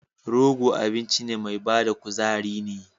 Rogo abinci mai bada kuzari ne.